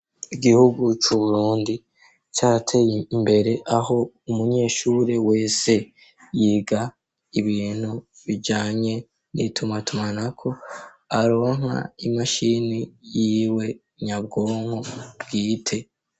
Igihugu cu Burundi carateye imbere .Aho umunyeshuri wese yiga ibintu bijanye nituma tumanako aronka imashini yiwe nyabwonko bwite.